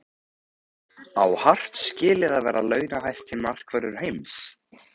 Á Hart skilið að vera launahæsti markvörður heims?